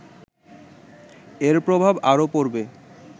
এর প্রভাব আরও পড়বে